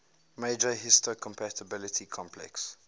major histocompatibility complex